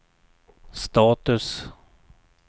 status